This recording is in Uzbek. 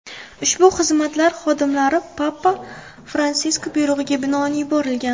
Ushbu xizmatlar xodimlari papa Fransisk buyrug‘iga binoan yuborilgan.